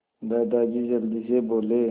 दादाजी जल्दी से बोले